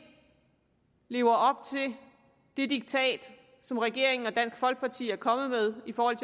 lever op til det diktat som regeringen og dansk folkeparti er kommet med i forhold